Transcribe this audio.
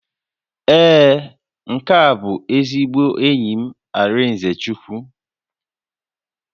Ee, nke a bụ ezigbo enyi m Arịnzechukwu